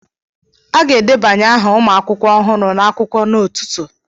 A ga-edebanye aha ụmụ akwụkwọ ọhụrụ n'akwụkwọ n'ụtụtụ